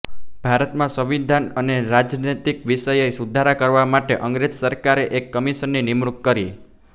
ભારતમાં સંવિધાન અને રાજનૈતિક વિષયે સુધારા કરવા માટે અંગ્રેજ સરકારે એક કમિશનની નિમણૂક કરી